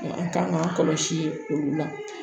An kan k'an kɔlɔsi olu la